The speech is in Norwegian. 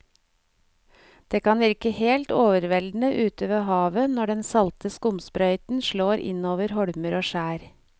Det kan virke helt overveldende ute ved havet når den salte skumsprøyten slår innover holmer og skjær.